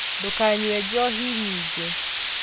Ndũkanyue njohi nyingĩ